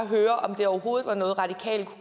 høre om det overhovedet er noget radikale kunne